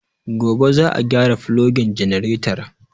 Gobe za a gyara fulogin janaretar